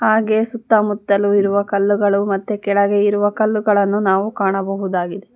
ಹಾಗೆ ಸುತ್ತಮುತ್ತಲು ಇರುವ ಕಲ್ಲುಗಳು ಮತ್ತೆ ಕೆಳಗೆ ಇರುವ ಕಲ್ಲುಗಳನ್ನು ನಾವು ಕಾಣಬಹುದಾಗಿದೆ.